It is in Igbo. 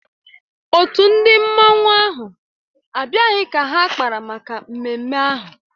Otu ndị mmanụ ahụ abịaghị ka ha kpara maka mmemme ahụ